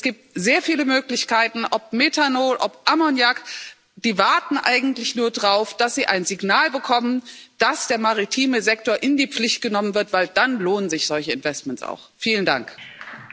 Es gibt sehr viele Möglichkeiten, ob Methanol, ob Ammoniak, die warten eigentlich nur darauf, dass sie ein Signal bekommen, dass der maritime Sektor in die Pflicht genommen wird, weil sich dann solche Investments auch lohnen.